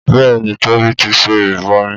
Bẹ́ẹ̀ni Tóbi ti ṣe ìrìbọmi